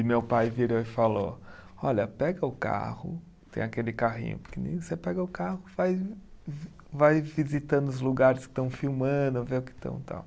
E meu pai virou e falou, olha, pega o carro, tem aquele carrinho pequenininho, você pega o carro faz, vai visitando os lugares que estão filmando, ver o que estão e tal.